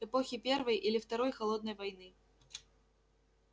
эпохи первой или второй холодной войны